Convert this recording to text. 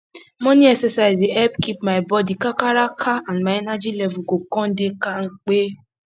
morning exercise dey help keep my body kakaraka and my energy level go come dey kampe